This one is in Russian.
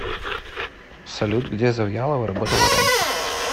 салют где завьялова работала раньше